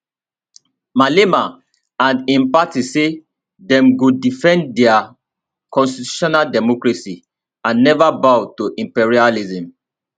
malema and im party say dem go defend dia constitutional democracy and neva bow to imperialism